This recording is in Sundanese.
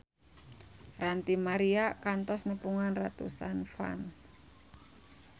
Ranty Maria kantos nepungan ratusan fans